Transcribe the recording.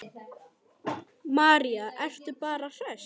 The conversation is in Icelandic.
María: Ertu bara hress?